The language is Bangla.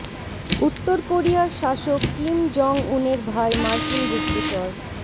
উত্তর কোরিয়ার শাসক কিম জং উনের ভাই মার্কিন গুপ্তচর